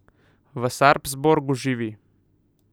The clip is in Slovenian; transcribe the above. V Sarpsborgu živi.